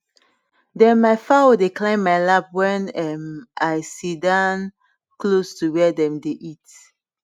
dem ma fowl dey climb ma lap wen um i sit um down close to where dem dey eat